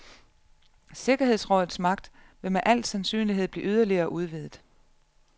Sikkerhedsrådets magt vil med al sandsynlighed bliver yderligere udvidet.